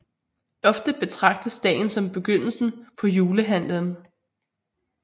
Ofte betragtes dagen som begyndelsen på julehandlen